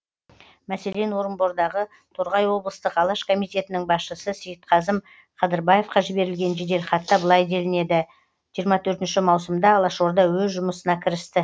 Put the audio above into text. мәселен орынбордағы торғай облыстық алаш комитетінің басшысы сейітқазым қадырбаевқа жіберілген жеделхатта былай делінеді маусымда алашорда өз жұмысына кірісті